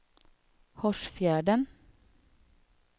Hårsfjärden